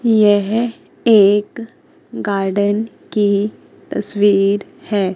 यह एक गार्डन की तस्वीर है।